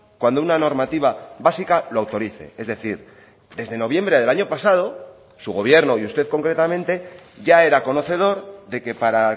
cuando una normativa básica lo autorice es decir desde noviembre del año pasado su gobierno y usted concretamente ya era conocedor de que para